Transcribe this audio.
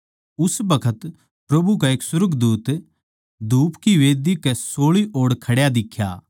उस बखत प्रभु का एक सुर्गदूत धूप की मंढही कै सोळी ओड़ खड्या दिख्या